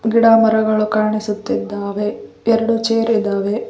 ಗಿಡ ಮರಗಳು ಕಾಣಿಸುತ್ತಿದ್ದಾವೆ ಎರಡು ಚೇರ್ ಇದಾವೆ.